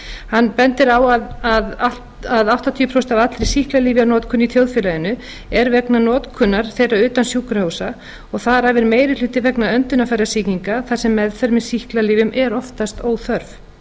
hann bendir á að allt að áttatíu prósent af allri sýklalyfjanotkun í þjóðfélaginu er vegna notkunar þeirra utan sjúkrahúsa og þar af meiri hluti vegna öndunarfærasýkinga þar sem meðferð með sýklalyfjum er oftast óþörf